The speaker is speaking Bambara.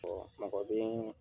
mɔgɔ bɛ